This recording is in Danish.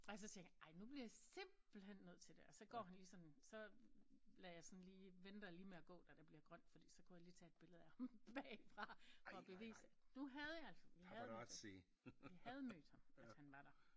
Og jeg så tænker ej nu bliver jeg simpelthen nødt til det og så han lige sådan så lader jeg sådan lige venter lige med at gå da der bliver grønt fordi så kunne jeg lige tage et billede af ham bagfra for at bevise nu havde jeg altså vi havde havde mødt ham at han var der